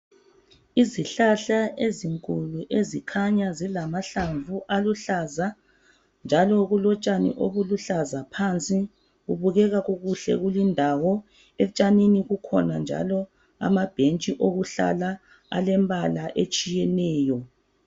Izihlahla ezinkulu ezithile zikhanya zilamahlamvu aluhlaza njalo kulotshani obuluhlaza phansi kubukeka kukuhle kulindawo etshanini kukhona njalo amabhentshi okuhlala alembala etshiyeneyo